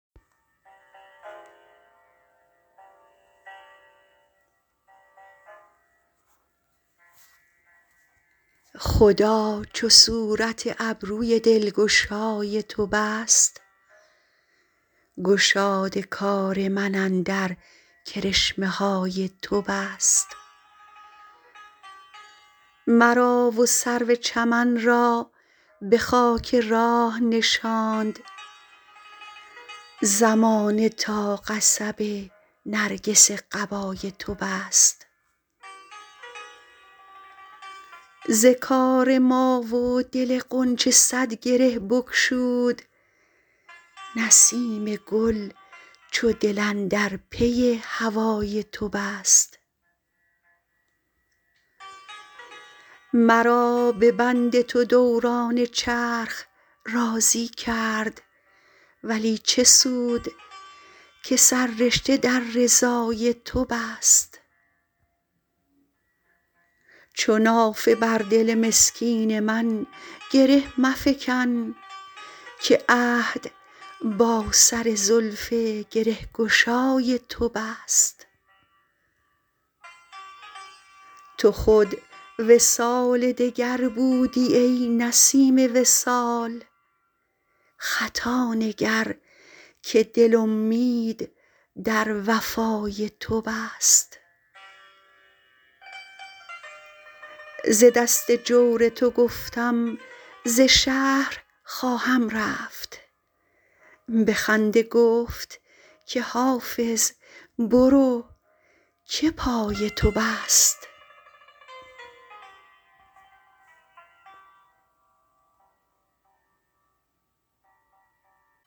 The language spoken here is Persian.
خدا چو صورت ابروی دلگشای تو بست گشاد کار من اندر کرشمه های تو بست مرا و سرو چمن را به خاک راه نشاند زمانه تا قصب نرگس قبای تو بست ز کار ما و دل غنچه صد گره بگشود نسیم گل چو دل اندر پی هوای تو بست مرا به بند تو دوران چرخ راضی کرد ولی چه سود که سررشته در رضای تو بست چو نافه بر دل مسکین من گره مفکن که عهد با سر زلف گره گشای تو بست تو خود وصال دگر بودی ای نسیم وصال خطا نگر که دل امید در وفای تو بست ز دست جور تو گفتم ز شهر خواهم رفت به خنده گفت که حافظ برو که پای تو بست